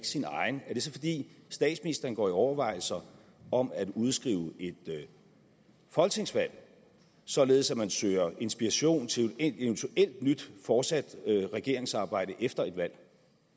sin egen er det så fordi statsministeren går i overvejelser om at udskrive et folketingsvalg således at man søger inspiration til et eventuelt nyt fortsat regeringssamarbejde efter et valg